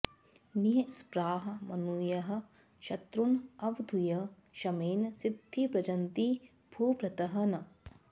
निःस्पृहाः मुनयः शत्रून अवधूय शमेन सिद्धि ब्रजन्ति भूभृतः न